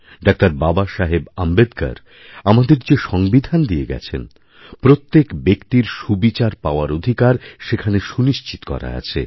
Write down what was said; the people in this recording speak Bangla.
ডাবাবাসাহেব আম্বেদকর আমাদের যে সংবিধান দিয়ে গেছেন প্রত্যেক ব্যক্তির সুবিচারপাওয়ার অধিকার সেখানে সুনিশ্চিৎ করা আছে